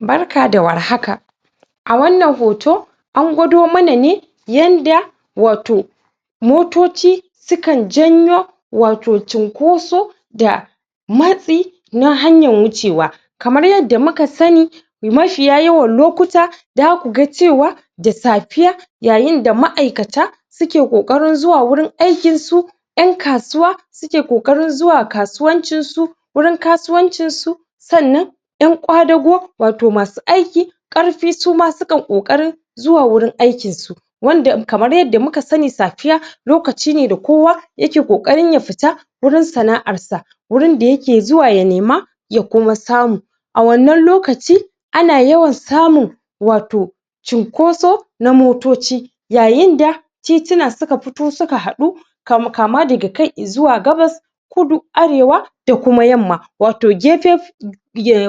Barka da war haka. a wannan hoto an gwado mana ne yanda wato motoci su kan janyo wato cunkoso da matsi na hanyan wuce wa. Kamar yanda muka sani mafiya yawan lokuta za kuga cewa da safiya yayinda ma'aikata ke kokarin zuwa wajen aikin su yan kasuwa, suke kokarin zuwa kasuwancin su wurin kasuwancin su sannan yan kwadago wato masu aikin karfi su ma sukan kokarinn zuwa wurin aikin su wanda kamar yanda muka sani safiya lokaci ne wanda kowa ya ke kokarin ya fita wurin sana'ar sa wurin da yake zuwa ya nema ya kuma samu. A wannan lokaci a na yawan samun wato cinkoso na motoci yayinda titina suka fito suka hadu kama da kai izuwa gabas kudu, arewa, da kuma yamma. Wato gefe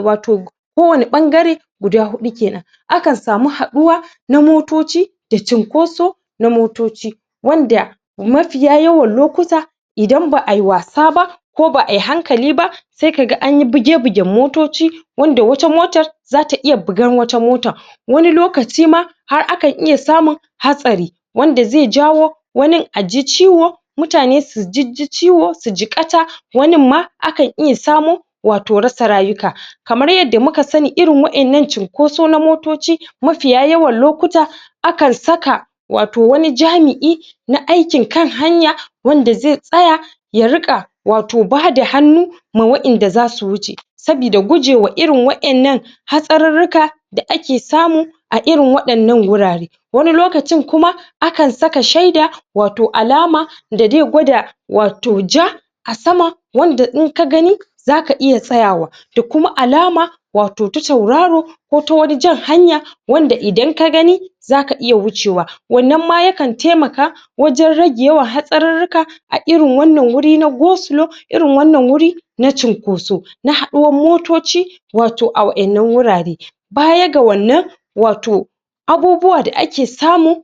wato ko wanni bangare guda hudu kenan a kan samu haduwa na motoci da cinkoso na motoci wanda mafiya yawan lokuta idan ba'ayi wasa ba ko ba'ayi hankali ba sai kaga anyi buge-bugen motoci wanda wata motan zata iya bugan wata motan. Wani lokaci ma har akan iya samun hatsari. wanda zai jawo wani a ji ciwo mutane su jijji ciwo, su jigata wanin ma akan iya samo wato rasa rayuka. Kamar yanda muka sani irin wadannan cinkosa na motoci mafiya yawan lokuta a kan saka wato wani jami'i na aikin kan hanya wanda zai tsaya ya rika wato bada hannu ma wadanda zu su wuce. Saboda guje ma wadannan hatsarurruka da ake samu a irin wadannan guraren Wani lokacin kuma a kan saka shaida wato alama da zai gwada wato ja a sama wanda in ka gani za ka iya tsayawa da kuma alama wato ta sauraro ko ta wani jan hanya wanda idan ka gani za kamiya wucewa. Wannan ma ya kan taimaka wajen rage yawan hatsarurruka a irin wannan guri na go slow irin wannan guri na cunkoso na haduwan motoci wato a wadannan wurare. Baya ga wannan, wato abubuwa da ake samu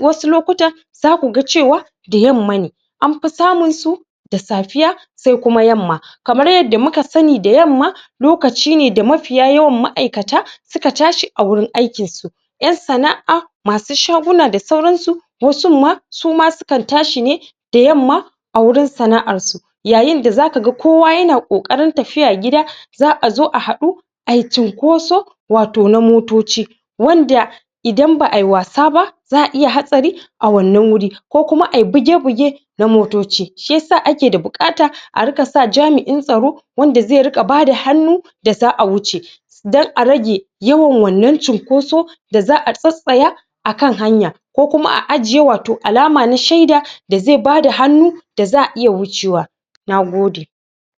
wasu lokutan za ku ga cewa da yamma ne, an fi samun su da safiya sai kuma yamma. Kamar yanda muka sani da yamma lokaci ne da mafiya yawan ma'aikata suka tashi a gurin aikin su, yan sana'a masu shaguna da sauran su wasun ma sukan tashi ne da yamma a wurin sana'ar su yayinda za ka ga kowa yana kokarin tafiya gida za'a zo a hadu ayi cunkoso wato na motoci wanda idan ba'ayi wasa ba za'a iya hatsari a wannan wuri. ko kuma ayi buge buge na motoci. Shiyasa ake da bukata a dinga sa jami'in tsaro wanda zai dinga bada hannu da za'a wuce don a rage yawan wannan cunkoso da za'a tsatstsaya a kan hanya. Ko kuma a ajiye wato alama na shaida da zai bada hannu da za'a iya wuce wa. Na gode.